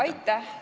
Aitäh!